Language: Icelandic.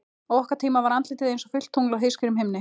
Á okkar tíma var andlitið einsog fullt tungl á heiðskírum himni.